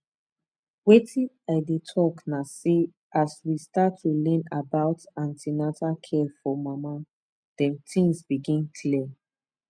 wetin i dey talk na say as we start to learn about an ten atal care for mama dem things begin clear